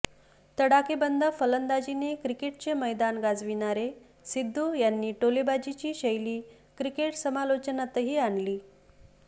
तडाखेबंद फलंदाजीने क्रिकेटचे मैदान गाजविणारे सिद्धू यांनी टोलेबाजीची शैली क्रिकेट समालोचनातही आणली